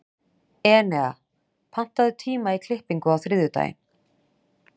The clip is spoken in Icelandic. Enea, pantaðu tíma í klippingu á þriðjudaginn.